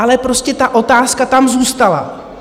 Ale prostě ta otázka tam zůstala.